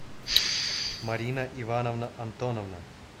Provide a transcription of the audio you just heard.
марина ивановна антоновна